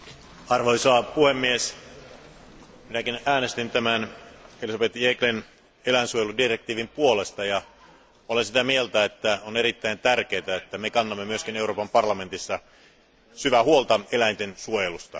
Arvoisa puhemies, minäkin äänestin Elisabeth Jegglen eläinsuojeludirektiivin puolesta ja olen sitä mieltä, että on erittäin tärkeää, että me kannamme myös Euroopan parlamentissa syvää huolta eläinten suojelusta.